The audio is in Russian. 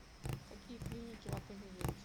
какие клиники в отеле есть